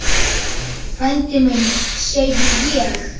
Frændi minn, segi ég.